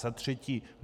Za třetí.